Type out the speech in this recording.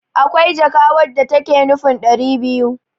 akwai jaka wadda take nufin dari biyu